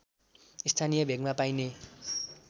स्थानीय भेगमा पाइने